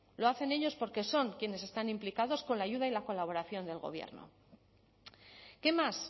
lo hacen ellos porque son quienes están implicados con la ayuda y la colaboración del gobierno qué más